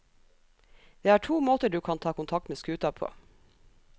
Det er to måter du kan ta kontakt med skuta på.